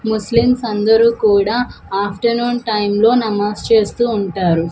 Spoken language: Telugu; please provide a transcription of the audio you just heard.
ముస్లిమ్స్ అందరూ కూడా ఆఫ్టర్నూన్ టైంలో నమాజ్ చేస్తూ ఉంటారు.